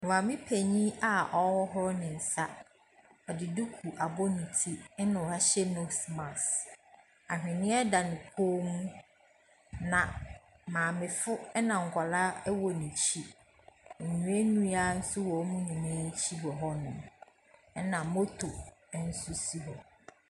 Maame panin a ɔrehohoro ne nsa. Ɔde duku abɔ ne ti, na wahyɛ nose mask. Aweneɛ da ne kɔn mu na maamefo na nkwadaa wɔ n’akyi. Nnuannua nso wɔ wɔn nyinaa akyi wɔ hɔnom. Na moto nso si hɔ.